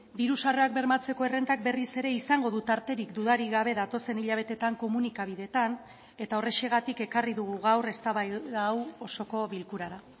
diru sarrerak bermatzeko errentak berriz ere izango du tarterik dudarik gabe datozen hilabeteetan komunikabideetan eta horrexegatik ekarri dugu gaur eztabaida hau osoko bilkurara